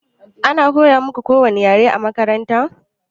Ana koya muƙu kowani ƴare a maƙaranta?